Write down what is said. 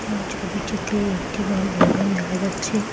এই ছবিটিতে একটি বড় ভবন দেখা যাচ্ছে।